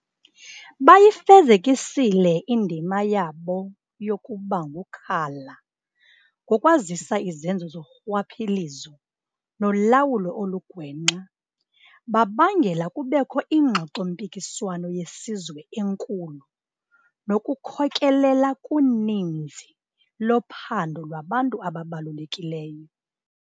Bayifezekisile indima yabo yokubangukhala ngokwazisa izenzo zorhwaphilizo nolawulo olugwenxa, babangela kubekho iingxoxo-mpikiswano yesizwe enkulu nokukhokelela kuninzi lophando lwabantu ababalulekileyo.